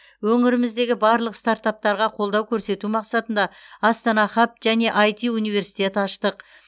өңіріміздегі барлық стартаптарға қолдау көрсету мақсатында астана хаб және айти университет аштық